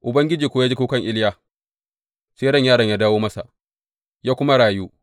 Ubangiji kuwa ya ji kukan Iliya, sai ran yaron ya dawo masa, ya kuma rayu.